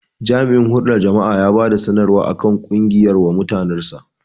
Jami'in hulɗa da jama'a ya bada sanarwa akan ƙungiyar wa mutanen sa